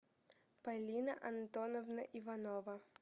полина антоновна иванова